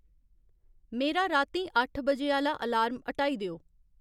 मेरा रातीं अट्ठ बजे आह्ला अलार्म हटाई देओ